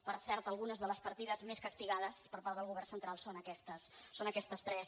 per cert algunes de les partides més castigades per part del govern central són aquestes tres